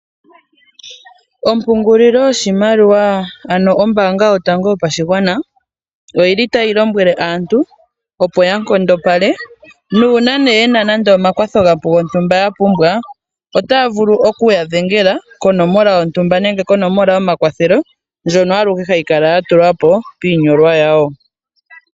Ompungulilo yoshimaliwa ano ombaanga yotango yopashigwana oyili tayi lombwele aantu opo nkondopale nuuna yena omakwatho gontumba ya pumbwa, otaya vulu okuya dhengela konomola yontumba nenge konomola yomakwathelo. Ndjono alehe hayi kala ya tulwa po piinyolwa yawo.